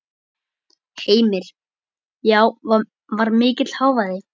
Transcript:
Heimir: Já var mikill hávaði?